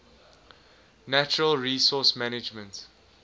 natural resource management